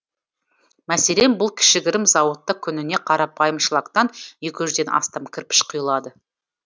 мәселен бұл кішігірім зауытты күніне қарапайым шлактан екі жүзден астам кірпіш құйылады